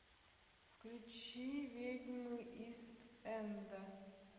включи ведьмы ист энда